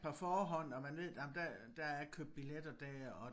På forhånd og man ved nåh der der er købt billetter der og